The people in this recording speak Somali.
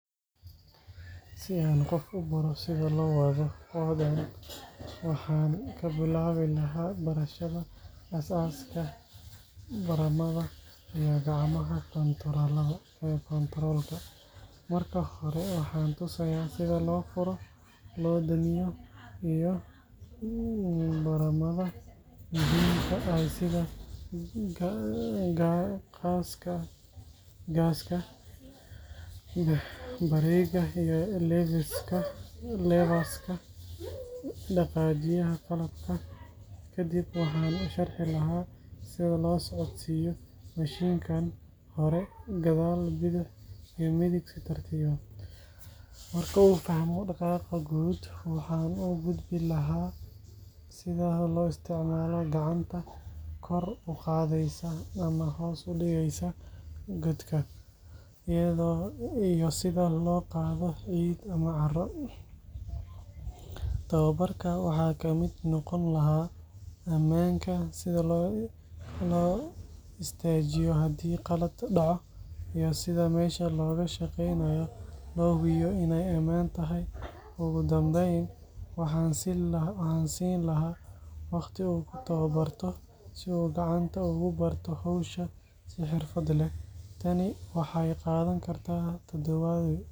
Si aan qof u baro sida loo wado qodaan excavator, waxaan ka bilaabi lahaa barashada aasaaska badhamada iyo gacmaha kontaroolka. Marka hore, waxaan tusayaa sida loo furo, loo damiyo, iyo badhamada muhiimka ah sida gaaska, bareega iyo levers-ka dhaqaajiya qalabka. Kadib, waxaan u sharixi lahaa sida loo socodsiiyo mashiinka hore, gadaal, bidix iyo midig si tartiib ah. Marka uu fahmo dhaqaaqa guud, waxaan u gudbin lahaa sida loo isticmaalo gacanta kor u qaadaysa ama hoos u dhigaysa godka, iyo sida loo qaado ciid ama carro. Tababarka waxaa ka mid noqon lahaa ammaanka – sida loo istaajiyo haddii qalad dhaco, iyo sida meesha looga shaqeynayo loo hubiyo inay ammaan tahay. Ugu dambeyn, waxaan siin lahaa waqti uu ku tababarto si uu gacanta ugu barto hawsha si xirfad leh. Tani waxay qaadan kartaa toddobaadyo.